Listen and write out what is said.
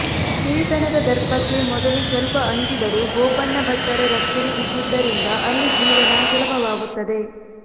ಹಿರಿತನದ ದರ್ಪಕ್ಕೆ ಮೊದಲು ಸ್ವಲ್ಪ ಅಂಜಿದರೂ ಗೋಪಣ್ಣ ಭಟ್ಟರ ರಕ್ಷಣೆ ಇದ್ದುದರಿಂದ ಅಲ್ಲಿ ಜೀವನ ಸುಲಭವಾಗುತ್ತದೆ